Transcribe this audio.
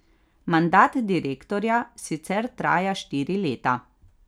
Mandat direktorja sicer traja štiri leta.